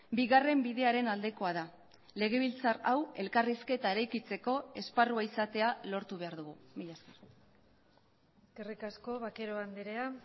bigarren bidearen aldekoa da legebiltzar hau elkarrizketa eraikitzeko esparrua izatea lortu behar dugu mila esker eskerrik asko vaquero andrea